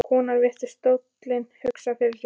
Konan virti stólinn hugsi fyrir sér.